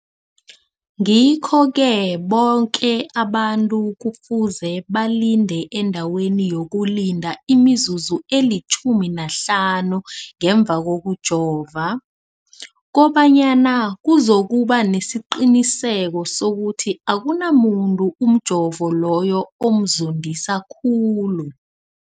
Ngikho-ke boke abantu kufuze balinde endaweni yokulinda imizuzu eli-15 ngemva kokujova, koba nyana kuzokuba nesiqiniseko sokuthi akunamuntu umjovo loyo omzondisa khulu.